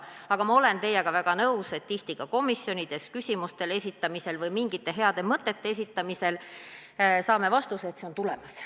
Aga ma olen teiega väga nõus, et tihti ka komisjonides küsimusi või mingeid häid mõtteid esitades saame vastuse, et see on tulemas.